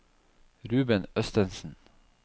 Ruben Østensen